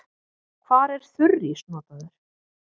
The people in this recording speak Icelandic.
Hvar er þurrís notaður?